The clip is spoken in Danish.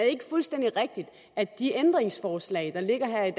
ikke fuldstændig rigtigt at de ændringsforslag der ligger her i